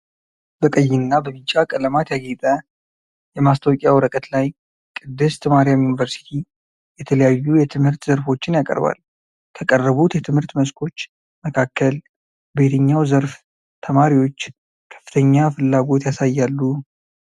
በቀይና በቢጫ ቀለማት ያጌጠ የማስታወቂያ ወረቀት ላይ "ቅድስት ማርያም ዩኒቨርሲቲ" የተለያዩ የትምህርት ዘርፎችን ያቀርባል። ከቀረቡት የትምህርት መስኮች መካከል በየትኛው ዘርፍ ተማሪዎች ከፍተኛ ፍላጎት ያሳያሉ?